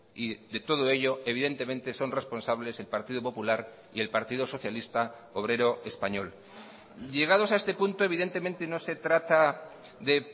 y de todo ello evidentemente son responsables el partido popular y el partido socialista obrero español llegados a este punto evidentemente no se trata de